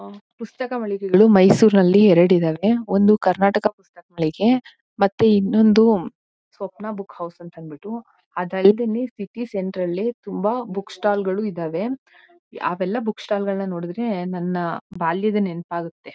ಆ ಪುಸ್ತಕ ಮಳಿಗೆಗಳು ಮೈಸೂರ್ನಲ್ಲಿ ಎರಡು ಇದಾವೆ. ಒಂದು ಕರ್ನಾಟಕ ಪುಸ್ತಕ ಮಳಿಗೆ ಮತ್ತೆ ಇನ್ನೊಂದು ಸ್ವಪ್ನ ಬುಕ್ ಹೌಸ್ ಅಂತಂದ್ಬಿಟ್ಟು. ಅದಲ್ದೇನೆ ಸಿಟಿ ಸೆಂಟರ್ ನಲ್ಲಿ ತುಂಬಾ ಬುಕ್ ಸ್ಟಾಲ್ಲ್ಗಳು ಇದಾವೆ. ಅವೆಲ್ಲಾ ಬುಕ್ಸ್ಟಾಲ್ ನೋಡಿದ್ರೆ ನನ್ನ ಬಾಲ್ಯದ ನೆನಪಾಗುತ್ತೆ.